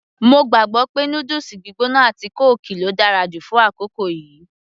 mo gbàgbọ́ pé noodles gbígbóná àti kóòkì ló dára jù fún àkókò yìí